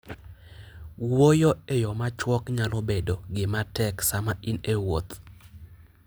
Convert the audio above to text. Wuoyo e yo machuok nyalo bedo gima tek sama in e wuoth.